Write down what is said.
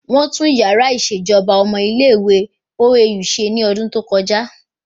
Wọ́n tún yàrá ìṣèjọba ọmọ ilé ìwé OAU ṣe ní ọdún tó kọjá